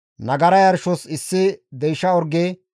Nagara yarshos issi deysha orge,